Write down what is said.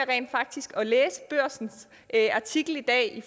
læse børsens artikel i dag